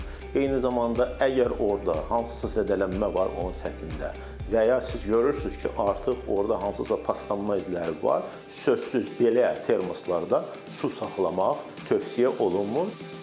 Eyni zamanda əgər orda hansısa zədələnmə var onun səthində və ya siz görürsünüz ki, artıq orda hansısa paslanma izləri var, sözsüz belə termoslarda su saxlamaq tövsiyə olunmur.